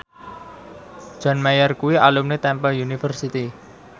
John Mayer kuwi alumni Temple University